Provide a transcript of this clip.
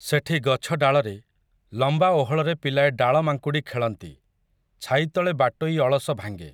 ସେଠି ଗଛ ଡାଳରେ, ଲମ୍ବା ଓହଳରେ ପିଲାଏ ଡାଳମାଙ୍କୁଡ଼ି ଖେଳନ୍ତି, ଛାଇତଳେ ବାଟୋଇ ଅଳସ ଭାଙ୍ଗେ ।